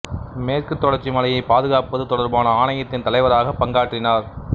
மேற்குத் தொடர்ச்சி மலையைப் பாதுகாப்பது தொடர்பான ஆணையத்தின் தலைவராகப் பங்காற்றினார்